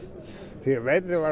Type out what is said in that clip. því veðrið var